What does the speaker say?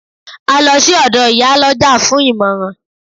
A lọ sí ọ̀dọ̀ Ìyálọ́jà fún ìmọ̀ràn